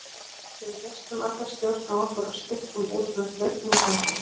Við misstum alla stjórn á okkur og stukkum út með fötin í fanginu.